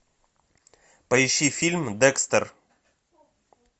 поищи фильм декстер